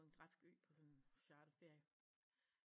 En græsk ø på sådan en charterferie